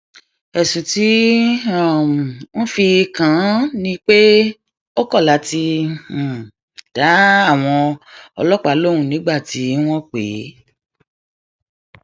ẹsùn tí um wọn fi kàn án ni pé ó kọ láti um dá àwọn ọlọpàá lóun nígbà tí wọn pè é